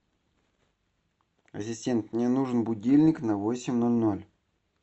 ассистент мне нужен будильник на восемь ноль ноль